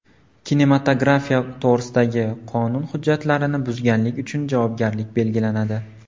Kinematografiya to‘g‘risidagi qonun hujjatlarini buzganlik uchun javobgarlik belgilanadi.